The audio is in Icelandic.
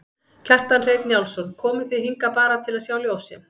Kjartan Hreinn Njálsson: Komuð þið hingað bara til að sjá ljósin?